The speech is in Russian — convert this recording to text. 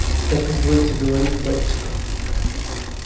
как изволите говорить батюшка